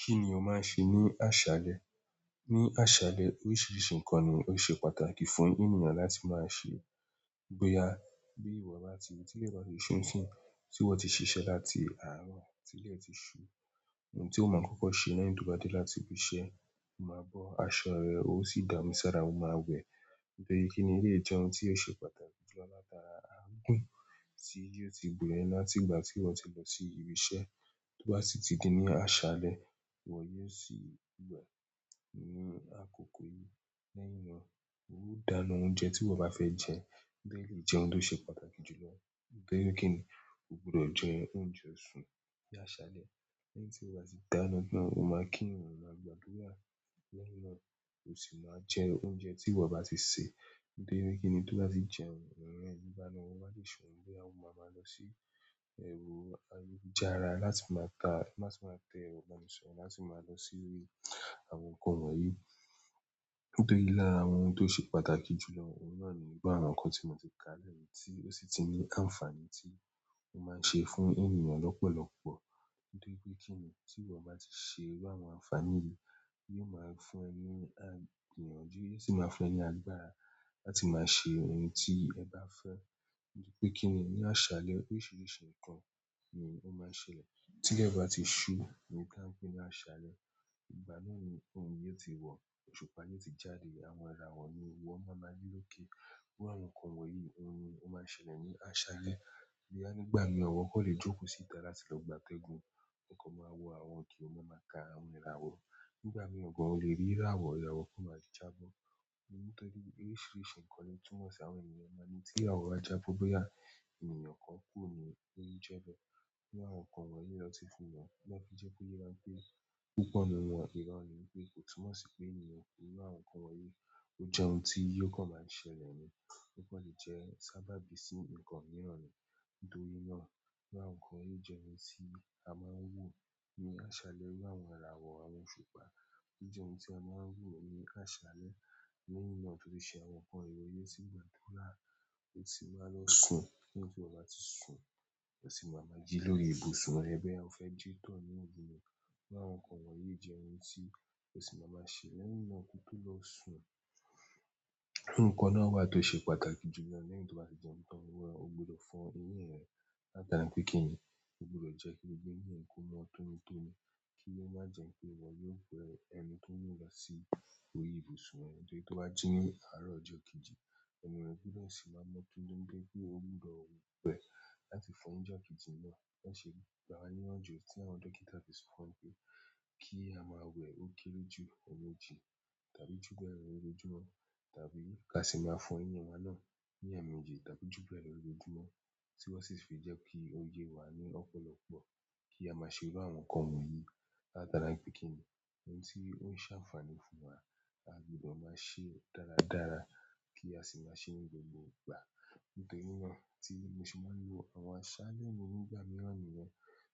Kí nì o máa ń ṣe ní àṣálẹ? Ní àṣálẹ oríṣiríṣi nǹkan ni ó ṣe pàtàkì fún ènìyàn láti máa ṣe. Boya, tílẹ̀ bá ti ṣú ǹsì tí wọ́n ti ṣiṣẹ́ láti àárọ̀, tí ilẹ̀ ti ṣú, ohun tí o máa kọ́kọ́ ṣe lẹ́yìn ti o bá dé láti ibi iṣẹ́, o máa bọ́ aṣọ rẹ, ó sì dámi sára, o máa wẹ. Nítorí kíni eleyii jẹ́ ohun tí ó ṣe pàtàkì jù lọ látara àagùn tí yóò ti bo e láti ìgbà tí ìwọ ti lọ sí ibi iṣẹ́ tó bá sì ti dé ní àṣálẹ́, ìwọ yóò sì wẹ̀. Ní àkókò yìí, lẹ́ẹ̀hin náà, ó dáná oúnjẹ tí ìwọ bá fẹ́ jẹ. Nítorí eleyii jẹ́ ohun tó ṣe pàtàkì jù lọ. Nítorí kíni, o gbọdọ̀ jẹ oúnjẹ sún ní àṣálẹ́. Lẹ́yìn tí o bá ti dáná náà, o máa kí rùn, o máa gbádùrà lẹ́yìn náà, o sì máa jẹ oúnjẹ tí ìwọ bá ti sè. Nítorí kíni, tó bá ti jẹun, ìran ìbánilò máa le ṣùn, boya o maa maa lọ sí ẹrọ ayé lujára láti máa kaa, láti máa tẹ erọ ìbánisọ̀rọ̀ láti máa lọ sí orí àwọn nǹkan wọ̀nyí. Nítorí lára àwọn ohun tó ṣe pàtàkì jù lọ. Ohun náà ni gbogbo àwọn nǹkan tí mo ti ká lẹ́ yìí tí ó sì ti ní ànfàní tí ó máa ń ṣe fún ènìyàn lọ́pọ̀lọpọ̀. Nítorí pé kíni tí ìwọ bá ti ṣe irú àwọn àǹfàní yìí, yóò máa fún ẹni igbìnyànju. Yóò sì máa fún ẹ ni àgbára láti máa ṣe ohun tí ẹ bá fẹ́. Nítorí pé kíni ní àṣálẹ́ oríṣiríṣi nǹkan ni ó máa ń ṣẹlẹ̀. Tílẹ̀ bá ti ṣú, ohun ti a n pé ní àṣálẹ́, ìgbà náà ni òrùn yóò ti wọ̀, òṣùpá yóò ti jáde, àwọn ìràwọ̀ ni iwọ́ máa ma ri lókè. Bá àwọn nǹkan wọ̀nyí ohun ni ó máa ń ṣẹlẹ̀ ní àṣálẹ́. Boya nígbà mìí, iwọ kan lè jókòó síta láti lọ gbátẹ́gùn o kan máa wọ àwọn oke o máa ma ka àwọn ìràwọ̀. Nígbà mii gan, o le ri ìràwọ̀, ìràwọ̀ kan maa jaa bo nítorí oríṣiríṣi nǹkan ni o túmọ̀ sí àwọn ènìyàn máa n ní tí ìràwọ̀ bá jabo boya ènìyàn kan kúni o n jebé. Bi àwọn nǹkan wọ̀nyí lọ́ti fún wọn. Ni wọn fi jẹ́ ko yẹ wa pé púpọ̀ ínú wọn, ìro ni wípé kò túnmọ̀ sí pé ènìyàn kú. Iru àwọn nǹkan wọ̀nyí ó jẹ́ ohun tí ò kàn máa ń ṣẹlẹ̀ ni. Wọn kò lè jẹ́ sábà bí i sí nǹkan mìíràn ni. Nítorí náà, iru àwọn nǹkan yìí jẹ́ ohun tí a máa ń wù ní àṣálẹ́ irú àwọn ìràwọ̀, àwọn òṣùpá. Ó jẹ́ ohun tí a máa ń wù ní àṣálẹ́. Eleyii náà tun fi se àwọn nǹkan irori, o si gbàdúrà o di maa lọ sun lẹ́yìn tí iwọ bá ti sùn, o sì máa ma jí lórí ibùsùn rẹ boya o fẹ́ jí tọ̀ ní oru ní. Bi àwọn nǹkan wọ̀nyí jẹ́ ohun tí o sì máa máa ṣe. Lẹ́yìn náà kó tó lọ sùn, nǹkan náà wà tó ṣe pàtàkì jù lọ. Lẹ́yìn tó bá ti jẹun tán, o gbọdọ̀ fo eyín rẹ. Lataara pé kíni, o gbọdọ̀ jẹ́ kí gbogbo eyín rẹ kó máa tóni tóni. Ki o ma jẹ p. Ó ṣe gbà a ní iyanju tí àwọn dókítà ti sọ fún pé kí a máa wẹ̀ ókéré jù emeejì tàbí jù bẹ́ẹ̀ lọ lọ́jọ́júmọ́ tàbí ká sì máa fo eyín wa náà ní ẹ̀meejì tàbí jù bẹ́ẹ̀ lọ lọ́jọ́júmọ́ tí wọ́n sì fi jẹ́ pé kí ó yé wa ní ọ̀pọ̀lọpọ̀ kí a máa ṣe irú àwọn nǹkan wọ̀nyí. Látaara wipé kíni, ohun tí ó ń ṣe àǹfààní fún wa, a gbọdọ̀ máa ṣe dáradára kí a sì máa ṣe ní gbogbo ìgbà. Nítorí náà tí mo sì máa ń lo àwọn àṣálẹ́ mi nígbà mìíràn nìyẹn.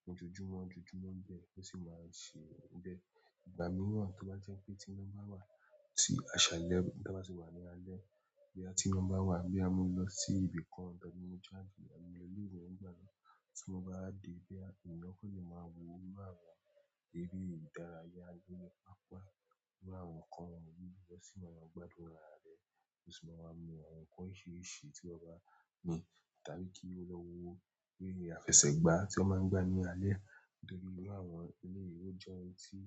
Ni ojúmọ́ ojúmọ́ bẹ́ẹ̀ ó sì máa ń ṣe bẹ́ẹ̀. Ìgbà mii to ba jẹ pé ti ina ba waa, ti a ba ti wa ni alẹ́ boya ti ina ba wa, boya mo lo si ibi kan tàbí mo jáde àbí mo lo ile ìwé ni ìgbà mii, ti mo ba dii boya èèyàn kan le máa wo inú àwọn eré ìdárayá bí i apá irú àwọn nǹkan wọ̀nyí. O sì máa ń gbádùn ara rẹ. Mo sì máa ń mu àwọn nǹkan oríṣiríṣi tí mo bá ní tàbí kí ó lọ wo eré àfẹsẹ̀gbá tí ó máa ń gbá ní alẹ́. Nítorí irú àwọn eleyìí ó jẹ́ ohun tí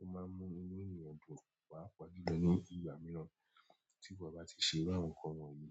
ó máa ń mú inú ènìyàn dùn paapaajùlọ ní ìgbà mìíràn tí ìwọ bá ti ṣe irú àwọn nǹkan wọ̀nyí.